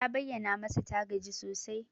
Ta bayyana masa ta gaji sosai.